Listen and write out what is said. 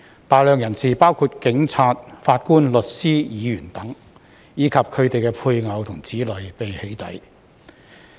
大量人士，包括警察、法官、律師、議員等，以及他們的配偶和子女被"起底"。